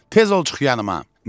Tez ol çıx yanıma.